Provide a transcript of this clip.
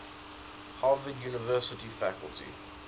harvard university faculty